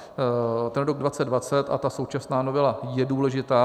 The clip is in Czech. Ten rok 2020 a ta současná novela je důležitá.